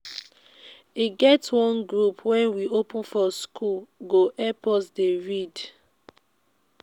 e get one group wey we open for schoole go help us dey read.